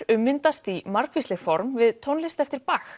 ummyndast í margvísleg form við tónlist eftir